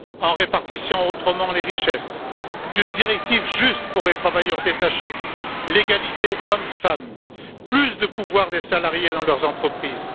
en répartissant autrement les richesses, une directive juste pour les travailleurs détachés, l'égalité entre les hommes et les femmes, plus de pouvoirs des salariés dans leurs entreprises.